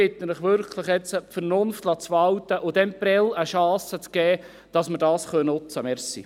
Ich bitte Sie wirklich, jetzt Vernunft walten zu lassen und Prêles eine Chance zu geben, damit wir es nutzen können.